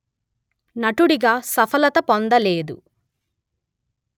నటుడిగా సఫలత పొందలేదు